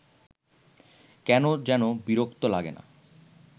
কেন যেন বিরক্ত লাগে না